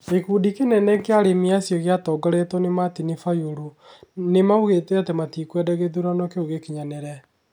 Gĩkundi kĩngĩ kĩnene kĩa aremi gĩatongoretio nĩ Martini Bayũrũ. Nĩ moigĩte atĩ matikwenda gĩthurano kĩu gĩkinyanĩre.